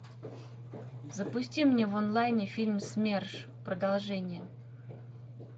запусти мне в онлайне фильм смерш продолжение